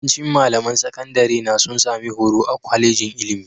Yawancin malaman sakandarena sun sami horo a kwalejin ilimi